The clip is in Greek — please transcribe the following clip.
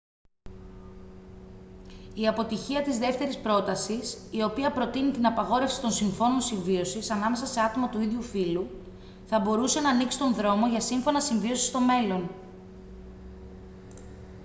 η αποτυχία της δεύτερης πρότασης η οποία προτείνει την απαγόρευση των συμφώνων συμβίωσης ανάμεσα σε άτομα του ίδιου φύλου θα μπορούσε να ανοίξει τον δρόμο για σύμφωνα συμβίωσης στο μέλλον